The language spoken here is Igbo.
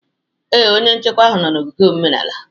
Ee, onye nchekwa ahụ nọ n'ogige omenala